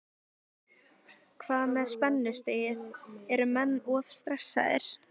Hvað með spennustigið, eru menn of stressaðir?